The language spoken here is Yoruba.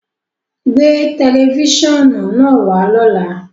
Gbé tẹlifísiọ́nù naá wà lọ́lá!